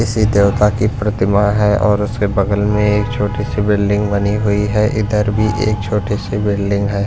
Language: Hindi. किसी देवता की प्रतिमा है और उसके बगल में एक छोटी सी बिल्डिंग बनी हुई है इधर भी एक छोटी सी बिल्डिंग है।